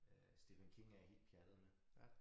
Øh Stephen King er jeg helt pjattet med